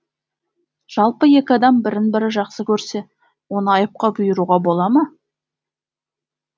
жалпы екі адам бірін бірі жақсы көрсе оны айыпқа бұйыруға бола ма